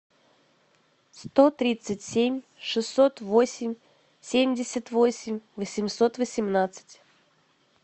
сто тридцать семь шестьсот восемь семьдесят восемь восемьсот восемнадцать